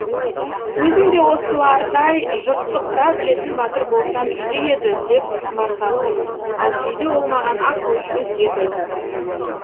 өзім де осылардай жұртты қыра білетін батыр болсам игі еді деп құмартатынмын ал кейде ол маған ақыл өсиет айтатын